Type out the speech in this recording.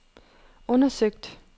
undersøgt